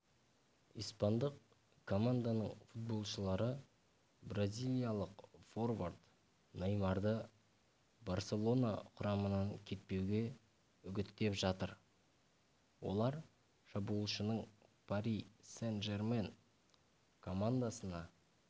испандық команданың футболшылары бразилиялық форвард неймарды барселона құрамынан кетпеуге үгіттеп жатыр олар шабуылшының пари сен-жермен командасына